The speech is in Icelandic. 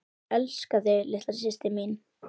Elska þig litla systir mín.